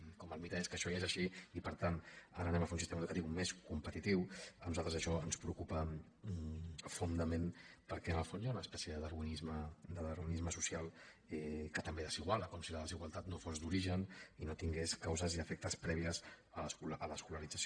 i com que el mite és que això ja és així i per tant ara farem un sistema educatiu més competitiu a nosaltres això ens preocupa profundament perquè en el fons hi ha una espècie de darwinisme social que també desiguala com si la desigualtat no fos d’origen i no tingués causes i efectes previs a l’escolarització